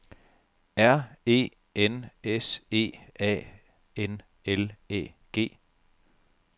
R E N S E A N L Æ G